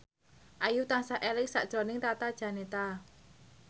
Ayu tansah eling sakjroning Tata Janeta